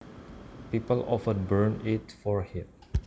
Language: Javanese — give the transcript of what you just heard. People often burn it for heat